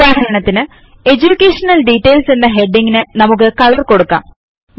ഉദാഹരണത്തിന് എഡ്യൂകേഷൻ DETAILSഎന്ന ഹെഡിംഗ് ന് നമുക്ക് കളർ കൊടുക്കാം